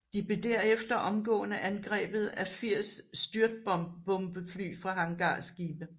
De blev derefter omgående angrebet af 80 styrtbombefly fra hangarskibe